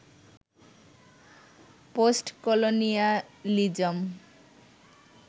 post colonialism